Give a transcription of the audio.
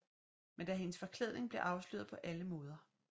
Men da hendes forklædning bliver afsløret på alle måder